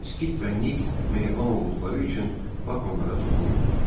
Skit və Nik mehriban olduqları üçün Bak onlara toxunmurdu.